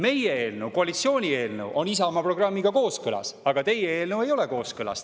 Meie eelnõu, koalitsiooni eelnõu, on Isamaa programmiga kooskõlas, aga teie eelnõu ei ole sellega kooskõlas.